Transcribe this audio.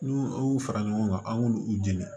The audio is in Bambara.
N'u y'u fara ɲɔgɔn kan an k'u jeni